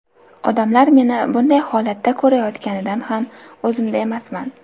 Odamlar meni bunday holatda ko‘rayotganidan ham o‘zimda emasman.